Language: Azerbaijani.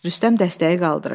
Rüstəm dəstəyi qaldırır.